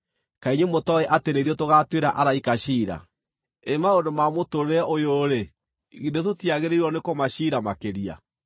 Kaĩ inyuĩ mũtooĩ atĩ nĩ ithuĩ tũgaatuĩra araika ciira? Ĩ maũndũ ma mũtũũrĩre ũyũ-rĩ, githĩ tũtiagĩrĩirwo nĩkũmaciira makĩria!